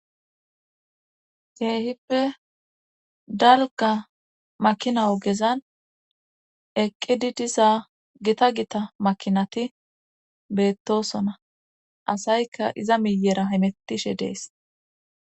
Keehippe dalga makina ogezan eqqidi diza gita gita makinati beettosona asaykka iza miyera himettishe dees.